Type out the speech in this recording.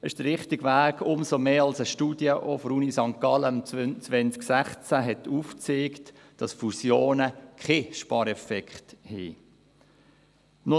Das ist der richtige Weg, umso mehr als auch eine Studie der Universität St. Gallen 2016 aufgezeigt hat, dass Fusionen keinen Spareffekt haben.